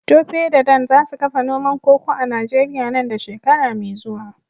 Tope da Dan za su kafa noman koko a Najeriya nan da shekara mai zuwa.